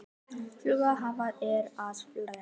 Sigurhelga, hvað er að frétta?